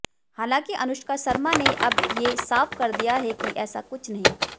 हालांकि अनुष्का शर्मा ने अब ये साफ कर दिया है कि ऐसा कुछ नहीं